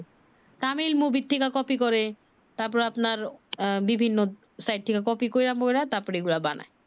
Tamil movie থেকে copy করে তারপরে আপনার আহ বিভিন্ন সাইট থেকে কপি করে তার পর এই গুলা বানায়